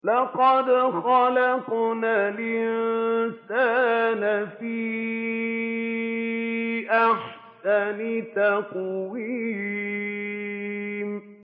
لَقَدْ خَلَقْنَا الْإِنسَانَ فِي أَحْسَنِ تَقْوِيمٍ